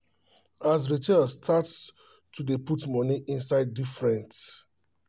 as racheal start to dey put money inside different